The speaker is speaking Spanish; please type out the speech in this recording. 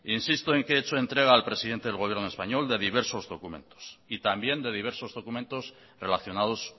insisto en que he hecho entrega al presidente del gobierno español de diversos documentos y también de diversos documentos relacionados